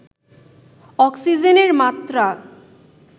অক্সিজেনের মাত্রা